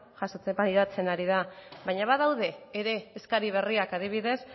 pairatzen ari da baina badaude ere eskari berriak adibidez